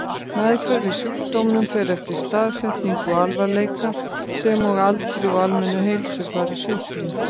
Meðferð við sjúkdómnum fer eftir staðsetningu og alvarleika, sem og aldri og almennu heilsufari sjúklings.